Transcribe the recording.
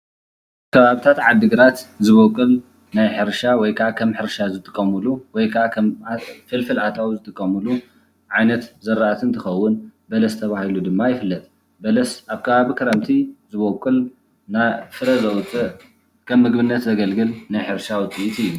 ከባብታት ዓዲ ግራት ዝቦቅል ናይ ሕርሻ ወይ ከኣ ከም ሕርሻ ዝጥቀሙሉ ወይ ከኣ ከም ፍልፍል ኣታዊ ዝጥቀሙሉ ዓይነት ዘራእቲ እንትኸዉን በለስ ተባሂሉ ደማ ይፍለጥ። በለስ ኣብ ከባቢ ክረምቲ ዝቦቅል ናፍረ ዘውፅእ ከም ምግብነት ዘገልግል ናይ ሕርሻ ውፅኢት እዩ።